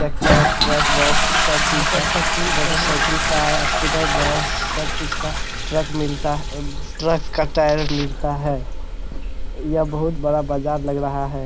Tractor truck bus सब चीज का मोटरसाइकिल कार स्कूटर बस सब कुछ का ट्रक मिलता ह अ ट्रक का टायर मिलता है। यह बहुत बड़ा बाजार लग रहा है।